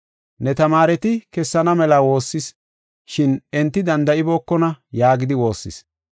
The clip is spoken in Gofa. Ne tamaareti kessana mela woossas, shin enti danda7ibookona” yaagidi woossis.